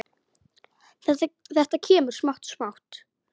Þetta kemur smátt og smátt.